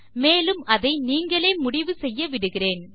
மேலும் அதை நீங்களே முடிவு செய்ய விடுகிறேன்